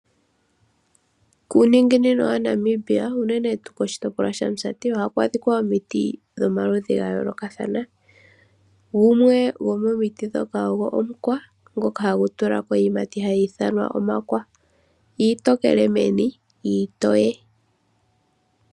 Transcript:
Kuuninginino wa Namibia unene tuu koshitopolwa sha Musati ohaku adhika omiti dhomaludhi ga yoolokathana . Gumwe gomomiti ndhoka ogwo omukwa ngono hagu tulako iiyimati hakutiwa omakwa, iitokele meni ,iitoye.